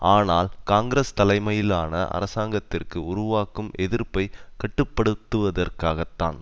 ஆனால் காங்கிரஸ் தலைமையிலான அரசாங்கத்திற்கு உருவாக்கும் எதிர்ப்பை கட்டுப்படுத்துவதற்காகத்தான்